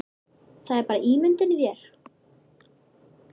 Það er bara ímyndun í þér!